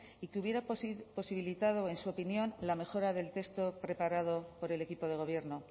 y que hubiera posibilitado en su opinión la mejora del texto preparado por el equipo de gobierno